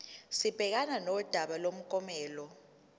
sibhekane nodaba lomklomelo